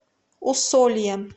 усольем